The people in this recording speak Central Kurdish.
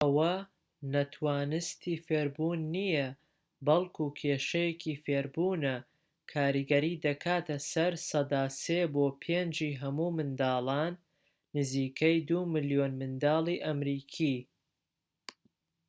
ئەوە ناتوانستی فێربوون نیە، بەڵكو کێشەیەکی فێربوونە؛ کاریگەری دەکاتە سەر سەدا ٣ بۆ ٥ ی هەموو منداڵان، نزیکەی ٢ ملیۆن منداڵی ئەمریکی